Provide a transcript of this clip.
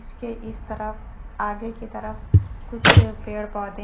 के इस तरफ आगे की तरफ कुछ पेड़ पौधे--